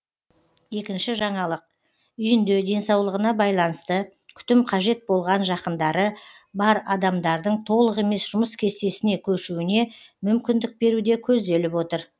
екінші жаңалық үйінде денсаулығына байланысты күтім қажет болған жақындары бар адамдардың толық емес жұмыс кестесіне көшуіне мүмкіндік беру де көзделіп отыр